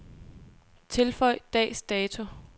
Tilføj dags dato.